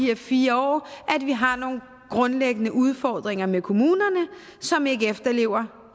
her fire år at vi har nogle grundlæggende udfordringer med kommuner som ikke efterlever